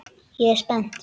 Ég er spennt.